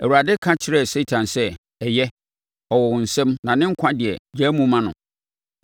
Awurade ka kyerɛɛ Satan sɛ, “Ɛyɛ, ɔwɔ wo nsam na ne nkwa deɛ, gyaa mu ma no.”